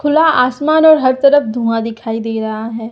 खुला आसमान और हर तरफ धुआ दिखाई दे रहा है।